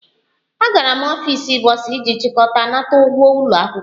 Agara m n'ọfịs bọsa iji chịkọta nnata ụgwọ ụlọ akwụkwọ m